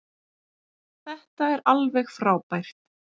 Þetta er alveg frábært.